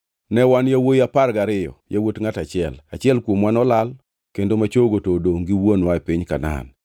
Ne wan yawuowi apar gariyo, yawuot ngʼat achiel. Achiel kuomwa nolal, kendo ma chogo to odongʼ gi wuonwa e piny Kanaan.’